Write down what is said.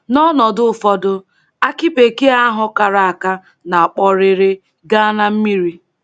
N’ọnọdụ ụfọdụ, akị bekee ahụ kara aka na-akpọrere gaa na mmiri.